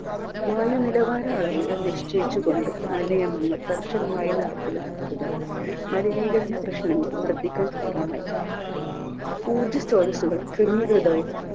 വായു നിലവാര അളവുകൾ നിശ്ചയിച്ചുകൊണ്ട് കർശനമായും നടപ്പിലാക്കാതിടം മലിനീകരണ പ്രശ്നങ്ങൾ വർദ്ധിക്കാൻ കാരണമായി ഊർജ സ്രോതസ്സുകൾ ക്രമീകൃതവും